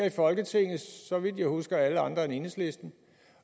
i folketinget så vidt jeg husker alle andre end enhedslisten